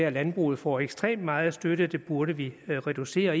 at landbruget får ekstremt meget støtte og det burde vi reducere